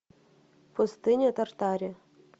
пустыня тартари